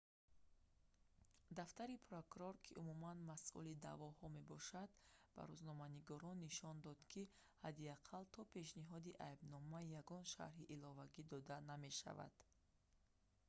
дафтари прокурор ки умуман масъули даъвоҳо мебошад ба рӯзноманигорон нишон дод ки ҳадди ақал то пешниҳоди айбнома ягон шарҳи иловагӣ дода намешавад